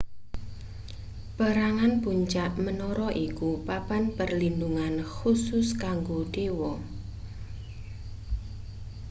perangan puncak menara iku papan perlindhungan khusus kanggo dewa